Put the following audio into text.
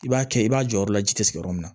I b'a kɛ i b'a jɔ yɔrɔ la ji tɛ sigi yɔrɔ min na